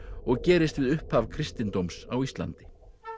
og gerist við upphaf kristindóms á Íslandi